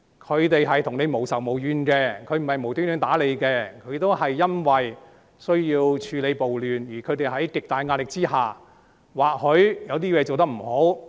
警察跟市民無仇無怨，不會無故打市民，他們只是因為需要處理暴亂，而由於他們處於極大壓力下，或許有些地方做得不好。